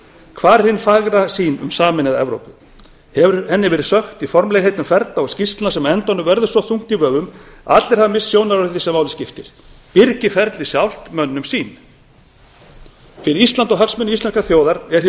hvar er hin fagra sýn um sameinaða evrópu hefur henni verið sökkt í formlegheitum ferla og skýrslna sem á endanum verða svo þung í vöfum að allir hafa misst sjónar á því sem máli skiptir byrgir ferlið sjálft mönnum sýn fyrir ísland og hagsmuni íslenskrar þjóðar er hér um lykilatriði